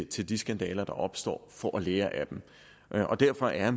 til de skandaler der opstår for at lære af dem derfor er